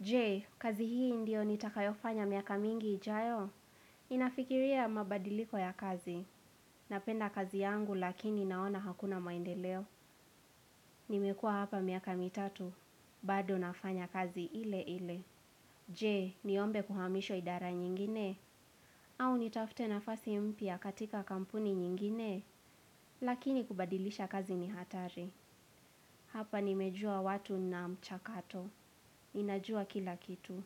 Je, kazi hii ndio nitakayofanya miaka mingi, ijayo. Ninafikiria mabadiliko ya kazi. Napenda kazi yangu lakini naona hakuna maendeleo. Nimekua hapa miaka mitatu. Bado nafanya kazi ile ile. Je, niombe kuhamishwa idara nyingine. Au nitafute nafasi mpya katika kampuni nyingine. Lakini kubadilisha kazi ni hatari. Hapa nimejua watu na mchakato. Ninajua kila kitu.